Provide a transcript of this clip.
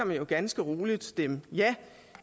man jo ganske roligt stemme ja